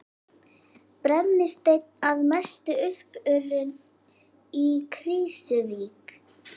Brennisteinn að mestu uppurinn í Krýsuvík.